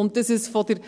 Und dass es von der